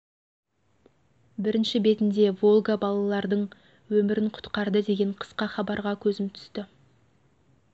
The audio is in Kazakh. бірінші бетінде волга балалардың өмірін құтқарды деген қысқа хабарға көзім түсті